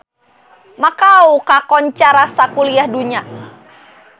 Makau kakoncara sakuliah dunya